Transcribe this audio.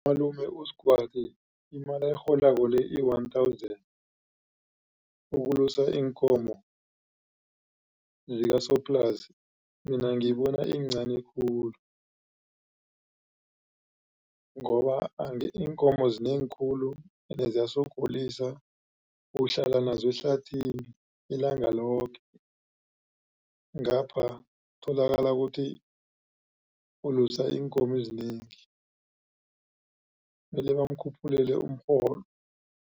Umalume uSgwadi imali ayirholako le iyi-one thousand ukulusa iinkomo zikasoplasi mina ngibona iyincani khulu ngoba iinkomo zinengi khulu ende ziyasogolisa uhlala nazo ehlathini ilanga loke ngapha tholakala ukuthi ulisa iinkomo ezinengi mele bamkhuphulele umrholo.